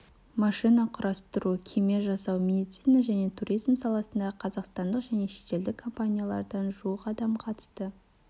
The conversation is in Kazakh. машина құрастыру кеме жасау медицина және туризм саласындағы қазақстандық және шетелдік компаниялардан жуық адам қатысты